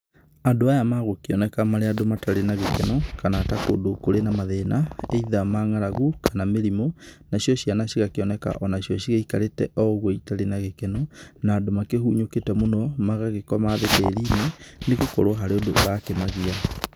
Andũ aya magũkĩoneka marĩ andũ matare na gĩkeno, kana ta kũndũ kũrĩ na mathĩna either ma ng'aragu kana mĩrimũ. Nacĩo cĩana cĩgakĩoneka nacĩo cĩgĩĩkarete oo ogũo ĩtare na gĩkeno na andũ makĩhũnyũkite mũno magagĩkoma thĩ tĩĩrĩni ,nĩgũkrwo harĩ ũndũ ũrakĩmagia.